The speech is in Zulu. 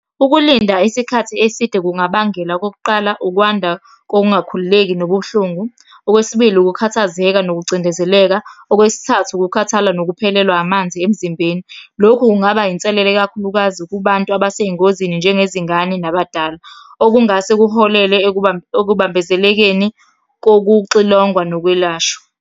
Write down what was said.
Ukulinda isikhathi eside kungabangela, okokuqala ukwanda kokungakhululeki nobuhlungu. Okwesibili, ukukhathazeka nokucindezeleka, okwesithathu, ukukhathala nokuphelelwa amanzi emzimbeni. Lokhu kungaba yinselele kakhulukazi kubantu abesey'ngozini, njengezingane nabadala. Okungase kuholele ekubambezelekeni kokuxilongwa nokwelashwa.